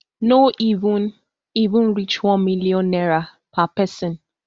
no even even reach one million naira per pesin